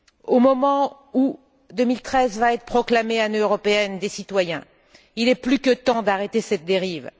Au moment où 2013 va être proclamée Année européenne des citoyens, il est plus que temps d'arrêter cette dérive.